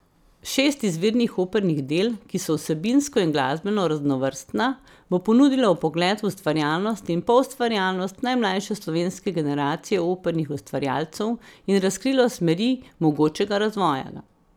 Šest izvirnih opernih del, ki so vsebinsko in glasbeno raznovrstna, bo ponudilo vpogled v ustvarjalnost in poustvarjalnost najmlajše slovenske generacije opernih ustvarjalcev in razkrilo smeri mogočega razvoja.